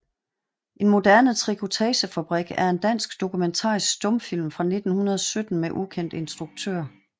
En moderne Trikotagefabrik er en dansk dokumentarisk stumfilm fra 1917 med ukendt instruktør